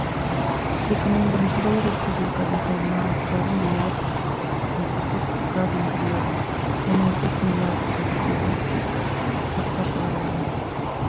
екі мың бірінші жылы республикада жылына алты жарым миллиард метр куб газ өндіріледі оның төрт миллиард метр кубі экспортқа шығарылады